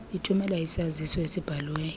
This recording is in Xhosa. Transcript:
ithumele isaziso esibhaliweyo